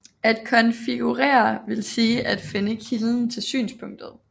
At konfigurere vil sige at finde kilden til synspunktet